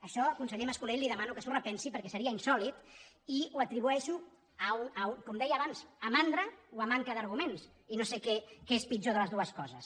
això con·seller mas·colell li demano que s’ho repensi perquè seria insòlit i ho atribueixo com deia abans a mandra o a manca d’arguments i no sé què és pitjor de les du·es coses